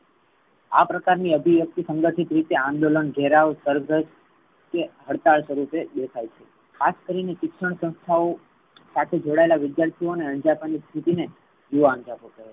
આ પ્રકાર ની અભિવ્યક્તિ સંઘઠિત રીતે આંદોલન ઘેરાવ સરગ્રસ્ત કે હડતાલ તરીકે દેખાઈ છે. આજ કરીને શિક્ષણ સંસ્થાઓ સાથે જોડાયેલા વિદ્યાર્થીઓને અંજપણ સ્તિથી ને યુવા અંજપણ કેહવાઈ.